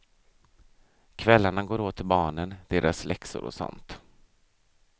Kvällarna går åt till barnen, deras läxor och sånt.